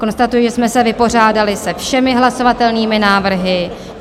Konstatuji, že jsme se vypořádali se všemi hlasovatelnými návrhy.